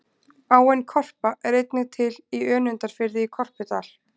Áin Korpa er einnig til í Önundarfirði, í Korpudal.